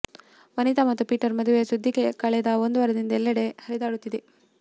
ವನಿತಾ ಮತ್ತು ಪೀಟರ್ ಮದುವೆಯ ಸುದ್ದಿ ಕಳೆದ ಒಂದು ವಾರದಿಂದ ಎಲ್ಲೆಡೆ ಹರಿದಾಡುತ್ತಿದೆ